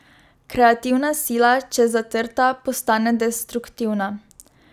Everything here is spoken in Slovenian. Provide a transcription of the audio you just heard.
Kreativna sila, če zatrta, postane destruktivna.